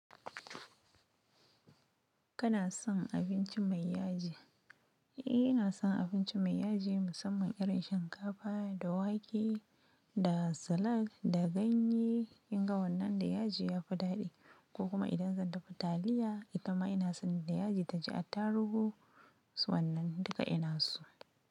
Kana son abinci mai yaji? Eh, ina son abinci mai yaji musamman irin shinkafa da wake da salak da ganye. Kinga wannan da yaji ya fi daɗi ko kuma idan zan dafa taliya, ita ma ina son da yaji ta ji attarugu. Wannan duka ina so.